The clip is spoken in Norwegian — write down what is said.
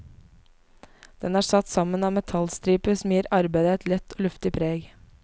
Den er satt sammen av metallstriper som gir arbeidet et lett og luftig preg.